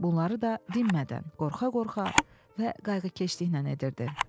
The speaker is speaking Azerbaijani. Bunları da dinmədən, qorxa-qorxa və qayğıkeşliklə edirdi.